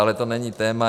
Ale to není téma.